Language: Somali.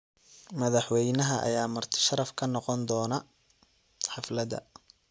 Madaxweynaha ayaa marti sharaf ka noqon doona xaflada.